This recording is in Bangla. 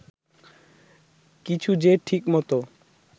কিছু যে ঠিকমতো